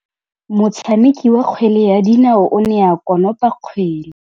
Motshameki wa kgwele ya dinaô o ne a konopa kgwele.